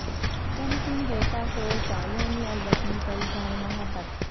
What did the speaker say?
کم سن غوطہ خور کا یوم الوطنی پر اظہار محبت